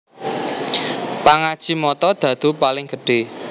Pangaji mata dhadhu paling gedhé